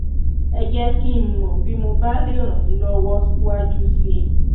ẹ jẹ́ kí n mọ̀ bí mo bá lè ràn yín lọ́wọ́ síwájú síi